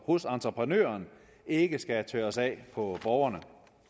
hos entreprenøren ikke skal tørres af på borgerne